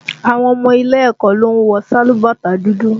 Àwọn ọmọ ilẹ̀ ẹ̀kọ́ ló ń wọ sálúbàtà dúdú